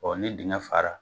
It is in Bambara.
ni dinŋɛ fara